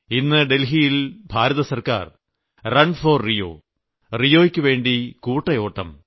ഇന്ന് ഡൽഹിയിൽ ഭാരതസർക്കാർ റൺ ഫോർ റിയോ റിയോയ്ക്കുവേണ്ടി കൂട്ടഓട്ടം